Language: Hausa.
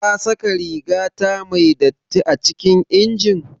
Kasaka rigata me datti acikin injin?